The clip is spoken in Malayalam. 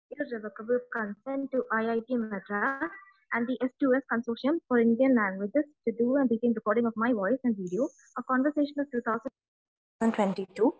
this is revocable consent to IIT Madras and the students consortium for Indian languages I am recording of my voice and videos conversational 2022